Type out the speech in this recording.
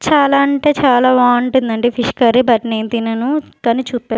చాలా అంటే చాలా బాంటుందండి ఫిష్ కర్రీ బట్ నేను తినను తను చుప్పే--